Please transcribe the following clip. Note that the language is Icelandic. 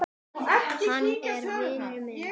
Hann er vinur minn.